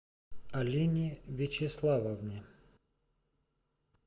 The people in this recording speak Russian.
алине вячеславовне